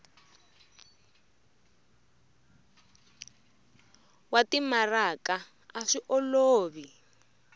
wa timaraka a swi olovi